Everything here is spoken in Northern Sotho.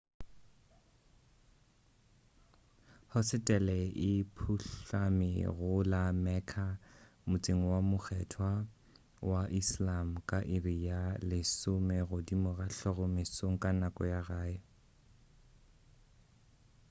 hosetele e phuhlame go la mecca motseng wo mokgethwa wa islam ka iri ya 10 godimo ga hlogo mesong ka nako ya gae